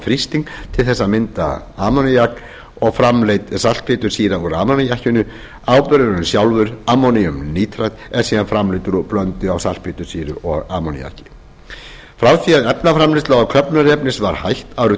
þrýsting til þess að mynda ammóníak og framleidd saltpéturssýra úr ammóníakinu áburðurinn sjálfur ammóníumnítrat er síðan framleiddur úr blöndu af saltpéturssýru og ammóníaki frá því að efnaframleiðslu á köfnunarefnisáburði var hætt árið